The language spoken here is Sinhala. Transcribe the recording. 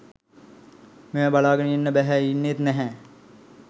මේව බලාගෙන ඉන්න බැහැ .ඉන්නෙත් නැහැ.